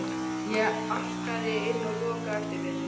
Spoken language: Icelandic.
Ég arkaði inn og lokaði á eftir mér.